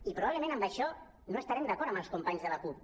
i probablement en això no estarem d’acord amb els companys de la cup